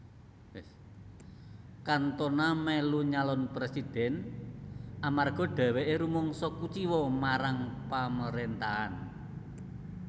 Cantona melu nyalon presidhèn amarga dheweke rumangsa kuciwa marang pamarentahan